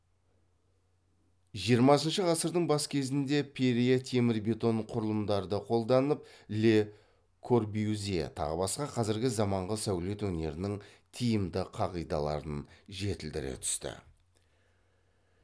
жиырмасыншы ғасырдың бас кезінде перре темір бетон құрылымдарды қолданып ле корбюзье тағы басқа қазіргі заманғы сәулет өнерінің тиімді қағидаларын жетілдіре түсті